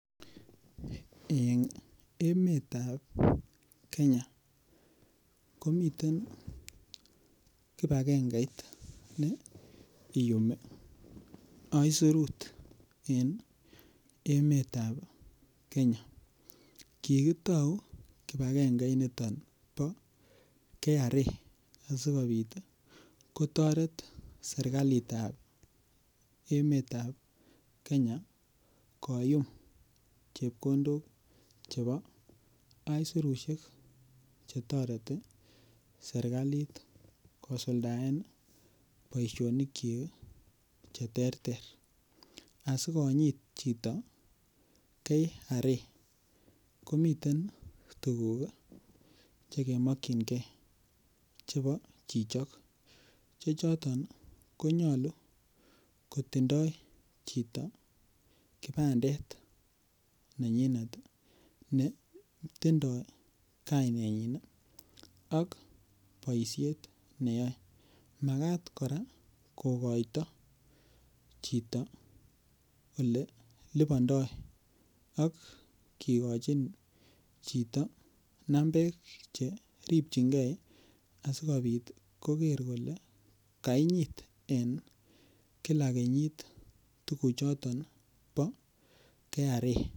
En emetab kenya komiten kipakengeit ne iyumi aisurut en emetab kenya kikitou kipakengeinito bo KRA asikobit kotoret serikalitab emetab kenya koyum chepkondok chebo aisurusiek chetoreti serikalit kosuldaen boisionikyik cheterter asikonyit chito KRA komiten tuguk chekemokyinge chebo chichok chechoton ii konyolu kotindoo chito kipandet nenyite netindoi kainenyin ak boisiet neyoe, makat kora kokoito chito olelipondoo ak kikochini chito nambek cheripchinge asikobit koker kole kainyit en kila kenyit tukuchoton bo KRA.